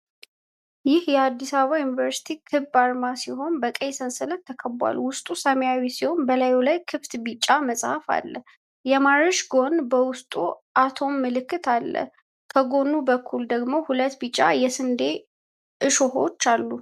ይህ የአዲስ አበባ ዩኒቨርሲቲ ክብ አርማ ሲሆን፣ በቀይ ሰንሰለት ተከብቧል። ውስጡ ሰማያዊ ሲሆን፣ በላዩ ላይ ክፍት ቢጫ መጽሐፍ እና የማርሽ ጎማ በውስጡ የአቶም ምልክት አለ። ከጎን በኩል ደግሞ ሁለት ቢጫ የስንዴ እሾሆች አሉ።